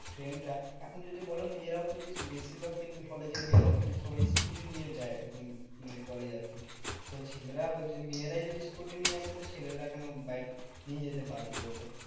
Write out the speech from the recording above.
Friend রা এখন যদি বলো মেয়েরাও কিন্তু বেশিরভাগ দেখবে কলেজের মেয়েরা কিন্তু সবাই scooter নিয়ে যায় এখন মানে কলেজ আরকি। তো ছেলেরাও যে মেয়েরাই যদি scooter নিয়ে আসে তো ছেলেরাও কেন বাইক নিয়ে যেতে পারবে না বলো।